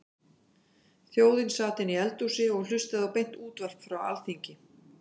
Þjóðin sat inni í eldhúsi og hlustaði á beint útvarp frá Alþingi.